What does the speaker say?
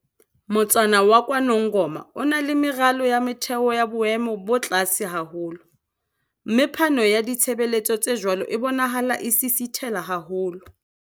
Motsana wa KwaNongoma o na le meralo ya motheo ya boemo bo tlase haholo, mme phano ya ditshebeletso tse jwalo e bonahala e sisitheha haholo.